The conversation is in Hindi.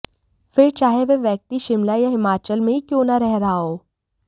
फिर चाहे वह व्यक्ति शिमला या हिमाचल में ही क्यों न रह रहा हो